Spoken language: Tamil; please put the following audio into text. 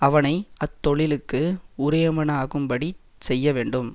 அவனை அத் தொழிலுக்கு உரியவனாகும்படிச் செய்ய வேண்டும்